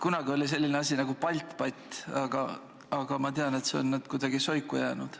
Kunagi oli selline asi nagu BALTBAT, aga ma tean, et see on nüüd kuidagi soiku jäänud.